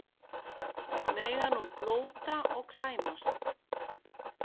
Mega nú blóta og klæmast